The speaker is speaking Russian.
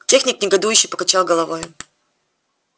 техник негодующе покачал головой